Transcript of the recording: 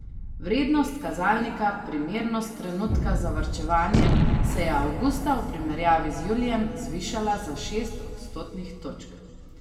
Vrednost kazalnika primernost trenutka za varčevanje se je avgusta v primerjavi z julijem zvišala za šest odstotnih točk.